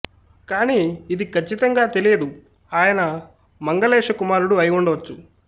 కానీ ఇది ఖచ్చితంగా తెలియదు ఆయన మంగలేష కుమారుడు అయి ఉండవచ్చు